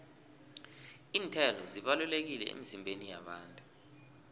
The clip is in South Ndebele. iinthelo zibalulekile emizimbeni yabantu